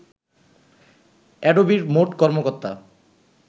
অ্যাডোবির মোট কর্মকর্তা